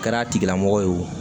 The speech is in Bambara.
Kɛra a tigilamɔgɔ ye o